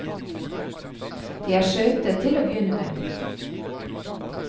De er søte til å begynne med.